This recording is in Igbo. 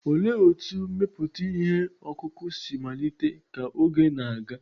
Olee otú mmepụta ihe ọkụkụ si malite ka oge na-aga?